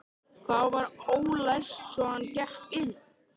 Það var ólæst svo hann gekk inn.